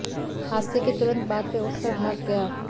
हादसे के तुरंत बाद वह उठकर भाग गया